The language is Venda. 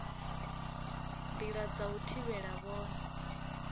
ndi dza u thivhela vhone